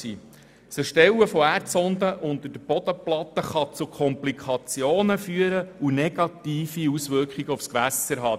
Das Erstellen von Erdsonden unter der Bodenplatte kann zu Komplikationen führen und negative Auswirkungen auf die Gewässer haben.